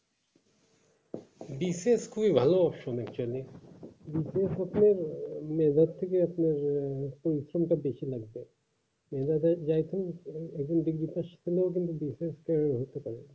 বিশেষ খুবই ভালো আছে actually বিশেষ আপনার nover থেকে আপনার আহ centre বেশি লাগবে logo এর থেকে আহ skim টা বেশি লাগবে সেভাবে জাইতুম এখন দুর্ভিক্ষর school এ কিন্তু